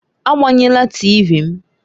Agbanyela TịVị m!